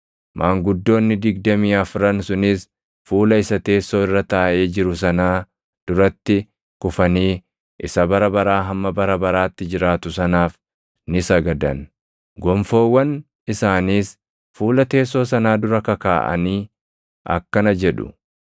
maanguddoonni digdamii afran sunis fuula isa teessoo irra taaʼee jiru sanaa duratti kufanii isa bara baraa hamma bara baraatti jiraatu sanaaf ni sagadan. Gonfoowwan isaaniis fuula teessoo sanaa dura kakaaʼanii akkana jedhu: